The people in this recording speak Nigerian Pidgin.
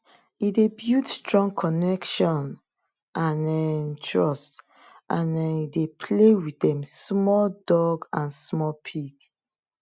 he dey build strong connection and um trust as um he dey play with dem small dog and small pig